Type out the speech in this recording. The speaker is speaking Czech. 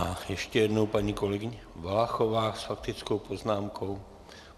A ještě jednou paní kolegyně Valachová s faktickou poznámkou.